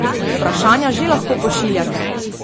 Vprašanja že lahko pošiljate!